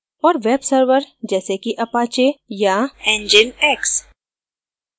और web server जैसे कि apache या nginx